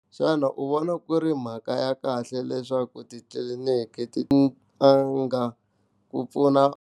Xana u vona ku ri mhaka ya kahle leswaku titliliniki ti a nga ku pfuna.